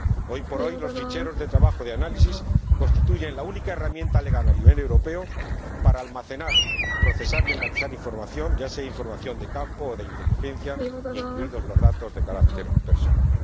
Hoy por hoy, los ficheros de trabajo de análisis constituyen la única herramienta legal, a nivel europeo, para almacenar, procesar y analizar información, ya sea información de campo o de inteligencia, incluidos los datos de carácter personal.